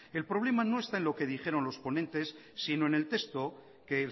el problema no está en lo que dijeron los ponentes sino en el texto que